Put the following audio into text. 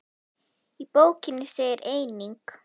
Í bókinni segir einnig